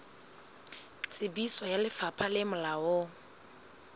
tsebiso ya lefapha le molaong